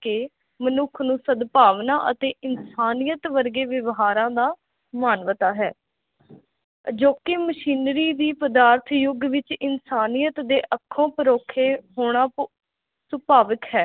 ਮਨੁਖ ਨੂੰ ਸਦਭਾਵਨਾ ਅਤੇ ਇਨਸਾਨੀਅਤ ਵਰਗੇ ਵਿਵਹਾਰਾ ਦਾ ਮਾਨਵਤਾ ਹੇ ਅਜੋਕੀ ਮਸ਼ੀਨਰੀ ਦੀ ਪਦਾਰਥ ਜੁਗ ਵਿਚ ਇਨਸਾਨੀਅਤ ਦੇ ਅਖੋਂ ਪਰੋਖੇ ਹੋਣਾ ਸੁਭਾਵਿਕ ਹੈ